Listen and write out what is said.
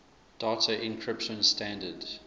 data encryption standard